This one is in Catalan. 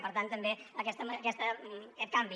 per tant també aquest canvi